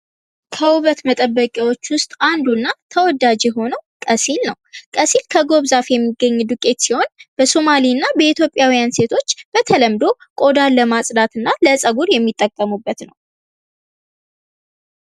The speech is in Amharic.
ከውበት መጠበቂያዎች ውስጥ አንዱና ተወዳጅ የሆነው ቀሲል ነው። ቀሲል ከጎብ ዛፍ የሚገኝ ዱቄት ሲሆን በሱማሌ እና በኢትዮጵያውያን ሴቶች በተለምዶ ቆዳን ለማጽዳት እና ለፀጉር የሚጠቀሙበት ነው።